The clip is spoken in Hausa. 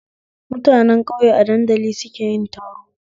Mutanen ƙauye a danadali suke yin taro